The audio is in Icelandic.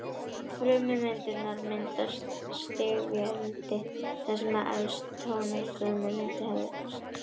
Frummyndirnar mynda stigveldi þar sem efst trónir frummynd hins góða.